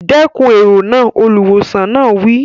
Dẹ́kun èrò náà! Olùwòsàn náà wí.